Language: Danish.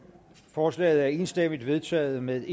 forslaget er enstemmigt vedtaget med